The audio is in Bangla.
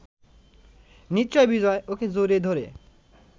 নিশ্চয়ই বিজয় ওকে জড়িয়ে ধরে